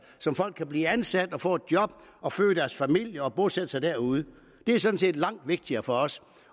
så folk kan blive ansat få et job og følge deres familie og bosætte sig derude det er sådan set langt vigtigere for os